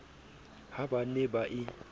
ha ba ne ba e